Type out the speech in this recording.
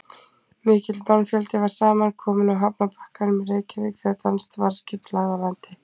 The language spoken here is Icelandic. Mikill mannfjöldi var saman kominn á hafnarbakkanum í Reykjavík þegar danskt varðskip lagði að landi.